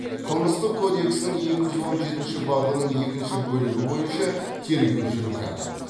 қылмыстық кодексінің екі жүз он жетінші бабының екінші бөлігі бойынша тергеу жүріп жатыр